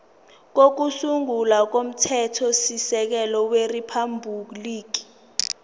kokusungula komthethosisekelo weriphabhuliki